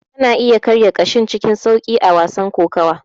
Kana iya karya ƙashin cikin sauƙi a wasan kokawa.